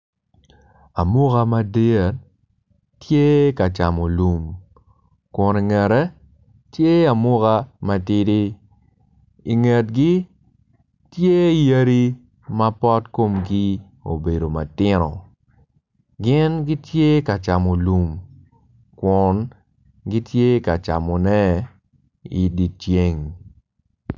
Amuka madit tye ka camo lum kun ingete tye amuka matidi ingetgi tye yadi mapot komgi obedo matino gin gitye kacamo lum kun gitye kacamone idye ceng